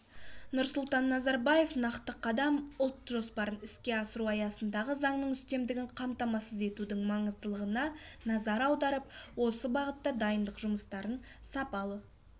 нұрсұлтан назарбаев нақты қадам ұлт жоспарын іске асыру аясында заңның үстемдігін қамтамасыз етудің маңыздылығына назар аударып осы бағытта дайындық жұмыстарын сапалы